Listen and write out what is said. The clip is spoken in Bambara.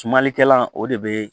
Sumalikɛla o de be